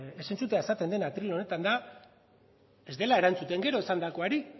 entzutea esaten dena atril honetan da ez dela erantzuten gero esandakoari